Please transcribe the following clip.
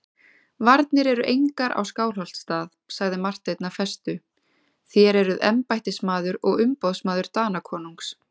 Varnir eru engar á Skálholtsstað, sagði Marteinn af festu,-þér eruð embættismaður og umboðsmaður Danakonungs.